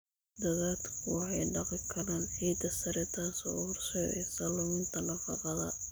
Daadadku waxay dhaqi karaan ciidda sare, taasoo u horseedaysa luminta nafaqada.